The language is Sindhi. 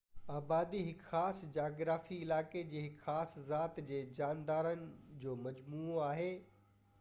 آبادي هڪ خاص جغرافيائي علائقي جي هڪ خاص ذات جي جاندارن جو مجموعو آهي